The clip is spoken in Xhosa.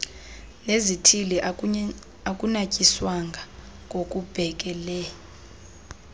nezithili akunatyiswanga ngokubhekele